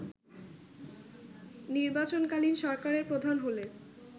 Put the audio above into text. নির্বাচনকালীন সরকারের প্রধান হলে